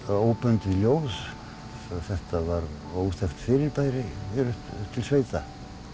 óbundið ljóð þetta var óþekkt fyrirbæri hér upp til sveita